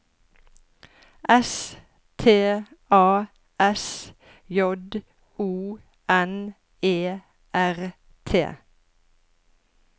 S T A S J O N E R T